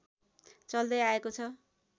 चल्दै आएको छ